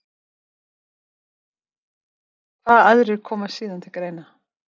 Hvaða aðrir koma síðan til greina?